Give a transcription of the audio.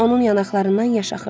Onun yanaqlarından yaş axırdı.